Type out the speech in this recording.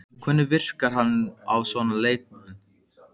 Hvernig virkar bann á svona leikmenn?